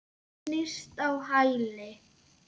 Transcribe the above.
Snýst á hæli.